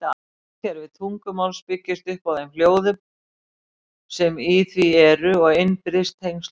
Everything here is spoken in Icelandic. Hljóðkerfi tungumáls byggist upp á þeim hljóðum sem í því eru og innbyrðis tengslum þeirra.